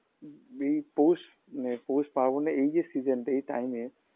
bee পৌষ নে পৌষ পার্বণে এই যে season -তে এই time -এ